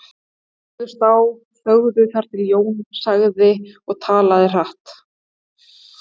Þau horfðust á og þögðu þar til Jón sagði og talaði hratt